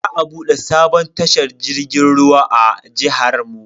Za a bude sabon tashar jirgin ruwa a jihar mu.